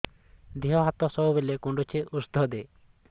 ଦିହ ହାତ ସବୁବେଳେ କୁଣ୍ଡୁଚି ଉଷ୍ଧ ଦେ